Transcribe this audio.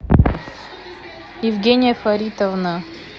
евгения фаритовна